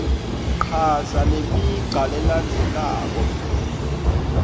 chaza lemigca lelandzelako